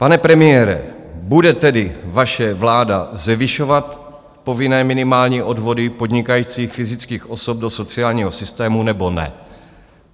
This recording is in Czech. Pane premiére, bude tedy vaše vláda zvyšovat povinné minimální odvody podnikajících fyzických osob do sociálního systému, nebo ne?